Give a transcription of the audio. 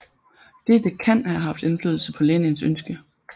Dette kan have haft indflydelse på Lenins ønske